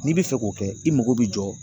N'i bɛ fɛ k'o kɛ i mago bɛ jɔ